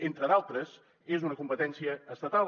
entre d’altres és una competència estatal